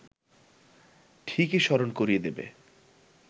ঠিকই স্মরণ করিয়ে দেবে